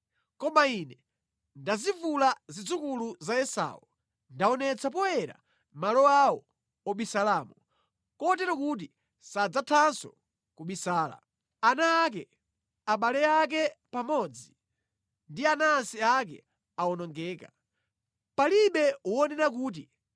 Koma ine ndazivula zidzukulu za Esau. Ndaonetsa poyera malo awo obisalamo, kotero kuti sadzathanso kubisala. Ana ake, abale ake pamodzi ndi anansi ake awonongeka. Palibe wonena kuti,